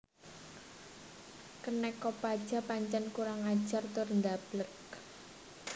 Kenek Kopaja pancen kurang ajar tur ndableg